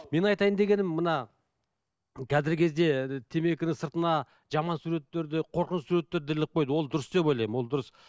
менің айтайын дегенім мына қазіргі кезде темекінің сыртына жаман суреттерді қорқынышты суреттерді іліп қойды ол дұрыс деп ойлаймын ол дұрыс